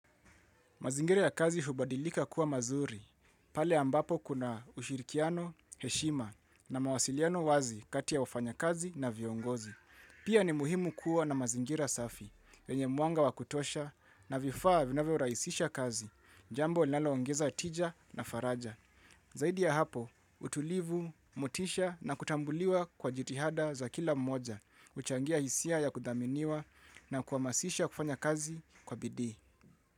Mazingira ya kazi hubadilika kuwa mazuri, pale ambapo kuna ushirikiano, heshima na mawasiliano wazi kati ya wafanya kazi na viongozi. Pia ni muhimu kuwa na mazingira safi, enye mwanga wa kutosha na vifaa vinavyo rahisisha kazi, jambo linaloongeza tija na faraja. Zaidi ya hapo, utulivu, motisha na kutambuliwa kwa jitihada za kila mmoja, huchangia hisia ya kudhaminiwa na kuhamasisha kufanya kazi kwa bidii.